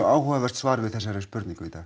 áhugavert svar við þessari spurningu í dag